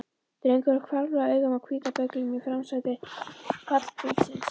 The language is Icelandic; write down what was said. Drengurinn hvarflaði augum að hvíta bögglinum í framsæti pallbílsins.